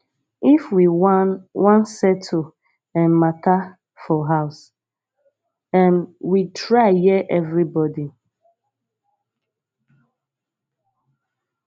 if we wan wan settle um mata for house um we try hear everybodi